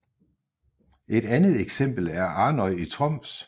Et andet eksempel er Arnøy i Troms